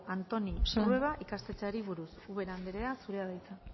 antonio trueba ikastetxeari buruz ubera anderea zurea da hitza